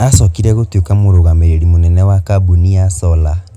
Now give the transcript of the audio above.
Acokire gũtuĩka mũrũgamĩrĩri mũnene wa kambuni ya solar.